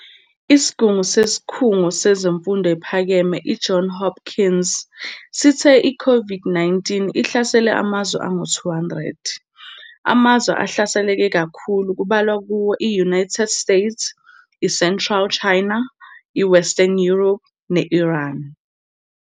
Isigugu sesikhungo semfundo ephakeme i-John Hopkins, sithe i-COVID-19 ihlasele amazwe angu-200, amazwe ahlaselekee kakhulu kubalwa kuwo i- United States, i-central China, i-western Europe ne Iran.